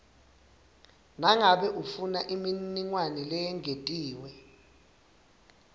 nangabe ufunaimininingwane leyengetiwe